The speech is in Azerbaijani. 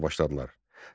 başladılar.